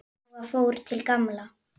Jóra fór til Gamla.